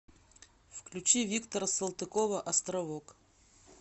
включи виктора салтыкова островок